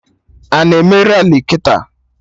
Ana eme Rali kịta?